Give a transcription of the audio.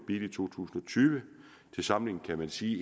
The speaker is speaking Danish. i to tusind og tyve til sammenligning kan man sige